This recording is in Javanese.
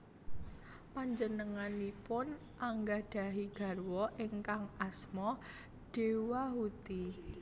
Panjenenganipun anggadhahi garwa ingkang asma Dewahuti